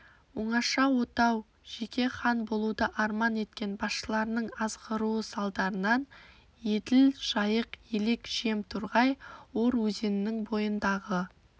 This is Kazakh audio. оңаша отау жеке хан болуды арман еткен басшыларының азғыруы салдарынан еділ жайық елек жем торғай ор өзенінің бойындағы